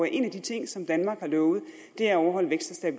en af de ting som danmark har lovet er at overholde vækst og